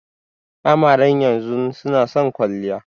Amaren yanzun nason kwaliya